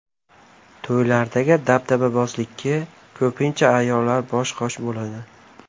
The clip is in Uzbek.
To‘ylardagi dabdababozlikka ko‘pincha ayollar bosh-qosh bo‘ladi.